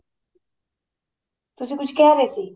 ਤੁਸੀਂ ਕੁੱਝ ਕਹਿ ਰਹੇ ਸੀ